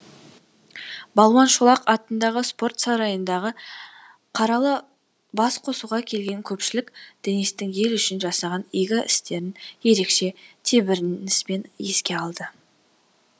балуан шолақ атындағы спорт сарайындағы қаралы бас қосуға келген көпшілік денистің ел үшін жасаған игі істерін ерекше тебіреніспен еске алды